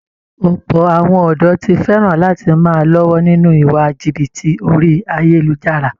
Ọ̀pọ̀ àwọn ọ̀dọ̀ ti fẹ̀ràn lati máa lọ́wọ́ nínú iwa jìbìtì orí ayélujára